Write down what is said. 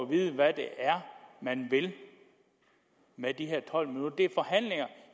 vide hvad det er man vil med de her tolv minutter det